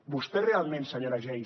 vostè realment senyora geis